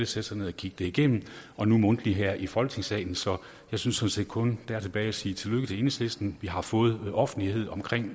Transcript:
sætte sig ned og kigge det igennem og nu mundtligt her i folketingssalen så jeg synes set kun at der er tilbage at sige tillykke til enhedslisten vi har fået offentlighed om